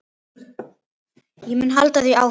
Ég mun halda því áfram.